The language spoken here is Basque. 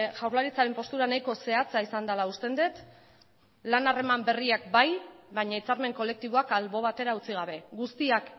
jaurlaritzaren postura nahiko zehatza izan dela usten dut lan harreman berriak bai baina hitzarmen kolektiboak albo batera utzi gabe guztiak